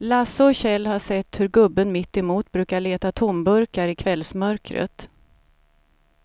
Lasse och Kjell har sett hur gubben mittemot brukar leta tomburkar i kvällsmörkret.